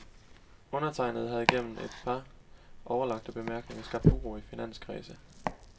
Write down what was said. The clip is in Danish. Undertegnede havde gennem et par uoverlagte bemærkninger skabt uro i finanskredse.